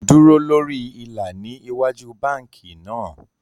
Dúró lórí ilà ní ìwájú bánkì náà